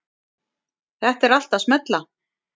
Þetta er allt að smella.